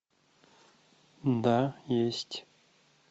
да есть